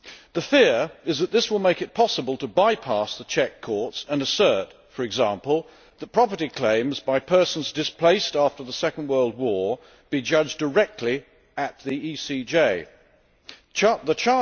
The fear is that this will make it possible to bypass the Czech courts and assert, for example, that property claims by persons displaced after the Second World War be judged directly at the European Court of Justice The